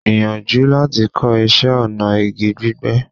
Gbìyànjú láti kọ́ iṣẹ́ ọnà igi gbígbẹ́.